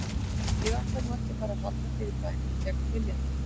Ég ætla nú ekki að fara að halda þér í bænum gegn vilja þínum.